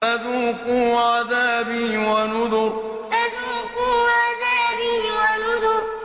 فَذُوقُوا عَذَابِي وَنُذُرِ فَذُوقُوا عَذَابِي وَنُذُرِ